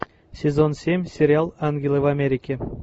сезон семь сериал ангелы в америке